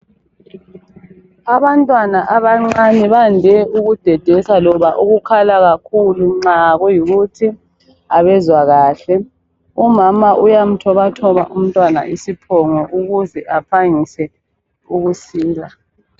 Abantwana abancane bande ukudedesa loba ukukhala kakhulu nxa kuyikuthi abezwa kahle, umama uyamthobathoba umntwana isiphongo ukuze aphangise ukusila.